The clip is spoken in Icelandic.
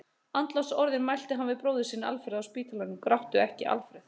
Andlátsorðin mælti hann við bróður sinn Alfreð á spítalanum: Gráttu ekki, Alfreð!